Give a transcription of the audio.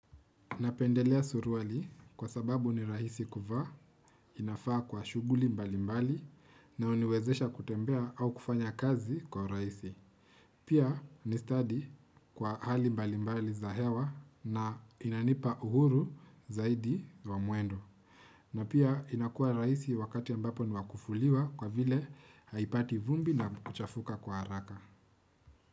Napendelea suruali kwa sababu ni rahisi kuvaa, inafaa kwa shughuli mbali mbali na huniwezesha kutembea au kufanya kazi kwa urahisi. Pia ni stadi kwa hali mbali mbali za hewa na inanipa uhuru zaidi wa mwendo. Na pia inakuwa rahisi wakati ambapo ni wakufuliwa kwa vile haipati vumbi na kuchafuka kwa haraka.